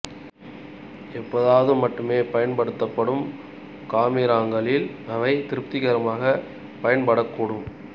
எப்போதாவது மட்டுமே பயன்படுத்தப்படும் காமிராக்களில் அவை திருப்திகரமாக பயன்படக் கூடும்